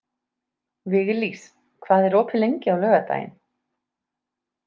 Viglís, hvað er opið lengi á laugardaginn?